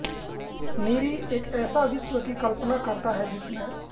नीरी एक ऐसे विश्व की कल्पना करता है जिसमें